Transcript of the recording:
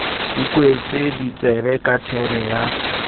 ikwetse ditsebe ka thebe ya